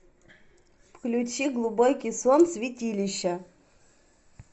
включи глубокий сон святилища